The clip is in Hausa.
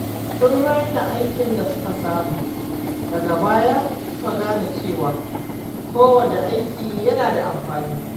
Sun raina aikin da suka samu, daga baya suka gane cewa kowane aiki yana da amfani.